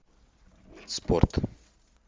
спорт